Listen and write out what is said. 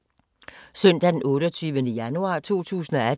Søndag d. 28. januar 2018